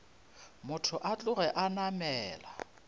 motho a tloge a namela